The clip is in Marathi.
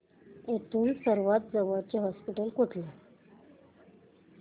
इथून सर्वांत जवळचे हॉस्पिटल कुठले